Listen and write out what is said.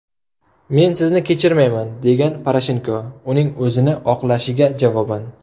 Men sizni kechirmayman”, degan Poroshenko uning o‘zini oqlashiga javoban.